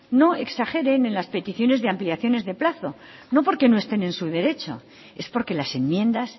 no exageren en las peticiones de ampliaciones de plazo no porque no esté en su derecho es porque las enmiendas